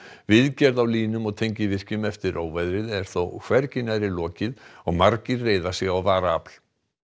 viðgerð á línum og tengivirkjum eftir óveðrið er þó hvergi nærri lokið og margir reiða sig á varaafl